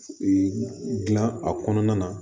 Ee dilan a kɔnɔna na